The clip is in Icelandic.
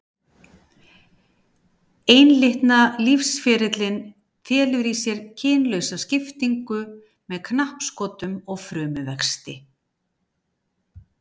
Einlitna lífsferillinn felur í sér kynlausa skiptingu með knappskotum og frumuvexti.